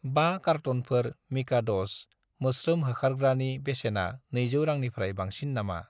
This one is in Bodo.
5 कारट'नफोर मिकाद'स मोस्रोम होखारग्रानि बेसेना 200 रांनिफ्राय बांसिन नामा?